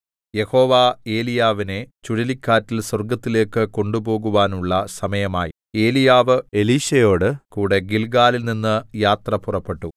യഹോവ ഏലീയാവിനെ ചുഴലിക്കാറ്റിൽ സ്വർഗ്ഗത്തിലേക്ക് കൊണ്ടുപോകുവാനുള്ള സമയമായി ഏലീയാവ് എലീശയോടു കൂടെ ഗിൽഗാലിൽനിന്ന് യാത്ര പുറപ്പെട്ടു